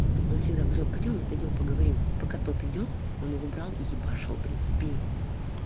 василёк пойдём мы пойдём поговорим пока так идёт он выбрал ебашил блять в спину